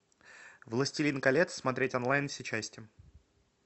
властелин колец смотреть онлайн все части